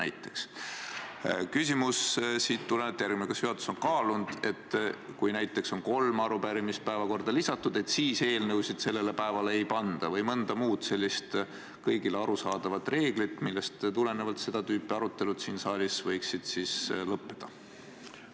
Sellest tulenevalt on küsimus järgmine: kas juhatus on kaalunud võimalust, et kui päevakorras on juba näiteks kolm arupärimist, siis eelnõusid sellele päevale enam ei panda, või mõnda muud sellist kõigile arusaadavat reeglit, millest tulenevalt seda tüüpi arutelud siin saalis võiksid lõppeda?